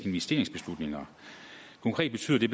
investeringsbeslutninger konkret betyder det